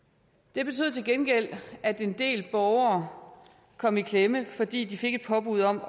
det betød til gengæld at en del borgere kom i klemme fordi de fik et påbud om